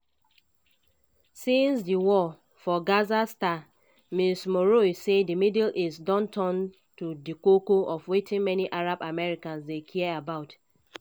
since di war for gaza star ms meroueh say di middle east don turn to di koko of wetin many arab americans dey care about.